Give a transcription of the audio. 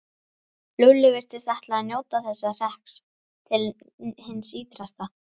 Lúlli virtist ætla að njóta þessa hrekks til hins ýtrasta.